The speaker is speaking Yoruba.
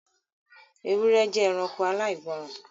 Ewúrẹ́ jẹ́ ẹranko aláìgbọ́ọ́rọ̀